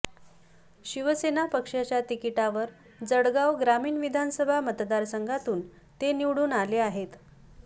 शिवसेना पक्षाच्या तिकिटावर जळगाव ग्रामीण विधानसभा मतदारसंघातून ते निवडून आले आहेत